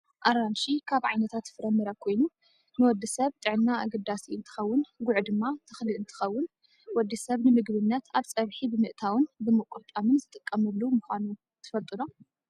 ኣራንሽ ካብ ዓይነታት ፍራምረ ኮይኑ ንወዲ ሰብ ጥዕና ኣገዳሲ እንትከውን ጉዕ ድማ ተክሊ እንትከውን ወዲ ሰብ ንምግብነት ኣብ ፀብሒ ብምእታውን ብምቁርጣምን ዝጥቀሙሉ ምኳኖም ትፈልጡ ዶ ?